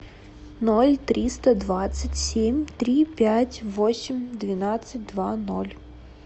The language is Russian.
ноль триста двадцать семь три пять восемь двенадцать два ноль